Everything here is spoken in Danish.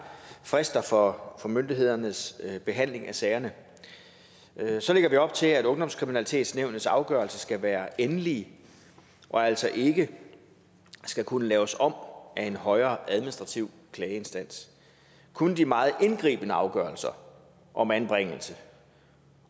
frister for myndighedernes behandling af sagerne så lægger vi op til at ungdomskriminalitetnævnets afgørelser skal være endelige og altså ikke skal kunne laves om af en højere administrativ klageinstans kun de meget indgribende afgørelser om anbringelse